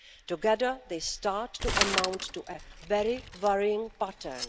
Together, they start to amount to a very worrying pattern.